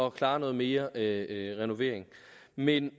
at klare noget mere renovering men